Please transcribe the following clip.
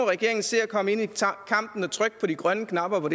regeringen se at komme ind i kampen og trykke på de grønne knapper